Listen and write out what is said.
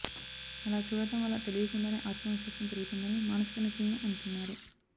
అలా చూడటం వల్ల తెలియకుండానే ఆత్మవిశ్వాసం పెరుగుతుందని మానసిక నిపుణులు అంటున్నారు